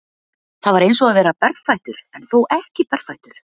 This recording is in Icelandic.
Það var eins og að vera berfættur en þó ekki berfættur.